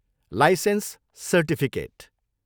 Licence certificate.